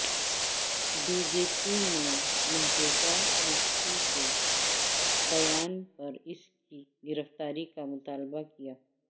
B J پی نے محبوبہ مفتی کے بیان پر اس کی گرفتاری کا مطالبہ کیا